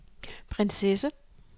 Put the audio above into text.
prinsesse